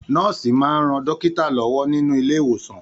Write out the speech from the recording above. Nọ̀ọ́si máa n rán dókítà lọwọ nínú ilé ìwòsan.